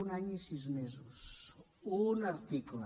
un any i sis mesos un article